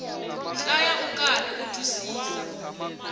hlaya ukarhi u twisisa